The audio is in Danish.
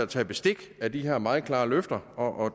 taget bestik af de her meget klare løfter og